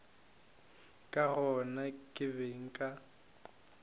ka gona ke be nka